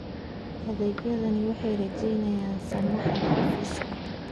Adeegyadani waxay yareeyaan saxmadda xafiiska.